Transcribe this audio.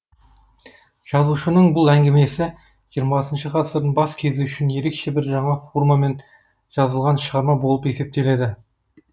жазуышының бұл әңгімесі хх ғасырдың бас кезі үшін ерекше бір жаңа формамен жазылған шығарма болып есептеледі